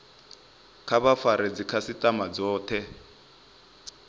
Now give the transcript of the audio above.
kha vha fare dzikhasitama dzothe